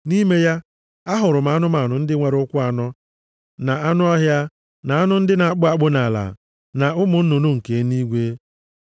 Nʼime ya, ahụrụ m anụmanụ ndị nwere ụkwụ anọ, na anụ ọhịa, na anụ ndị na-akpụ akpụ nʼala na ụmụ nnụnụ nke eluigwe.